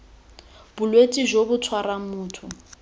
bolwetse jo bo tshwarang motho